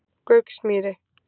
Gauksmýri